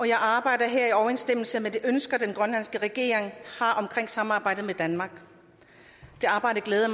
jeg arbejder her i overensstemmelse med de ønsker den grønlandske regering har omkring samarbejdet med danmark det arbejde glæder